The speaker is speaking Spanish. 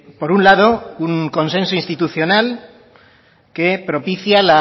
por un lado un consenso institucional que propicia